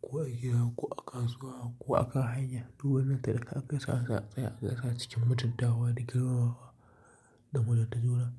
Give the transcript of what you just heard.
ko a gida ko a kasuwa ko a kan hanya. Dukannin da ka kai sa'a sa'a ka ga cikin mutuntawa da girmamawa da muna tattauna.